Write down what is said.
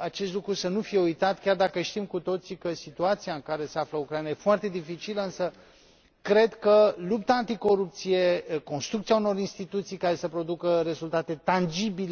acest lucru să nu fie uitat, chiar dacă știm cu toții că situația în care se află Ucraina este foarte dificilă, însă cred că lupta anticorupție, construcția unor instituții care să producă rezultate tangibile